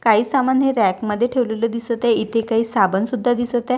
काही सामान हे रॅक मध्ये ठेवलेले दिसत आहे इथे काही साबण सुद्धा दिसत आहे.